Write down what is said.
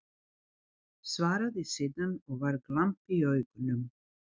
Svaraði síðan, og var glampi í augunum